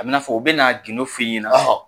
A bi n'a fɔ u bɛna n'a gindo fƆ i ɲɛna,